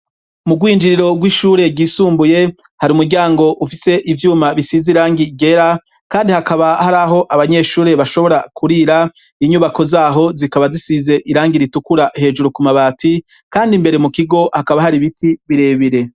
Mu bwinjiriro rw'ishure ryisumbuye hari umuryango ufise ivyuma bisize irangi ryera kandi hakaba hari aho abanyeshure bashobora kurira inyubako zaho zikaba zisize irangi ritukura hejuru ku mabati kandi imbere mu kigo hakaba hari biti birebire.